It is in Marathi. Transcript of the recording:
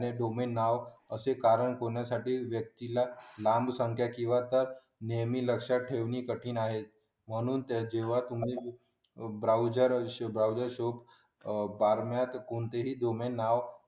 वुमेन नाव असे कारण शोधण्यासाठी व्यक्तीला नाम संख्या किंवा नेहमी लक्षात ठेवणे कठीण आहे ब्राउझ मी कोणतेही नाव तुम्ही